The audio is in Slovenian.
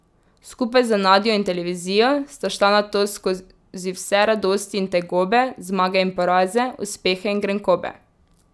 Skupaj, z Nadjo in televizijo, sta šla nato skozi vse radosti in tegobe, zmage in poraze, uspehe in grenkobe.